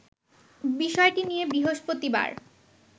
বিষয়টি নিয়ে বৃহস্পতিবার